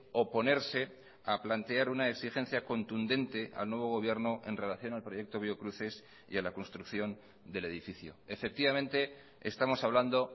oponerse a plantear una exigencia contundente al nuevo gobierno en relación al proyecto biocruces y a la construcción del edificio efectivamente estamos hablando